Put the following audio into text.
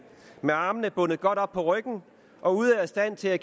med armene bundet godt op på ryggen og ude af stand til at